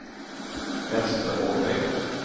Vestre Åmøy